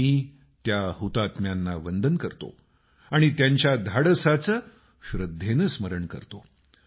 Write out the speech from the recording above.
मी त्या हुतात्म्यांना वंदन करतो आणि त्यांच्या धाडसाचं श्रद्धेनं स्मरण करतो